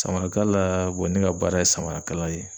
Samarakaala ne ka baara ye samarakala ye.